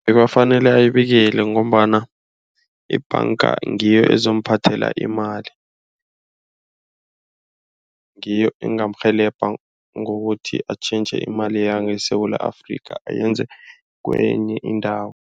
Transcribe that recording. Bekafanele ayibikile ngombana ibhanga ngiyo ezomuphathela imali. Ngiyo engamurhelebha ngokuthi atjhentjhe imali yangeSewula Afrika ayenze kwenye indawo.